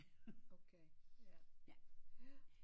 Okay ja